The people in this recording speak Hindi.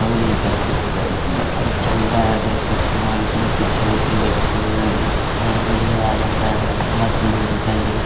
और इधर से उधर बत्तक चल रहा है देख सकते हैं और इसमे पिछल के बच्चल में आ जाता है काफी मस्त लुक दिखाई दे रहा है।